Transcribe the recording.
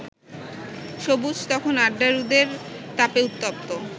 সবুজ তখন আড্ডারুদের তাপে উত্তপ্ত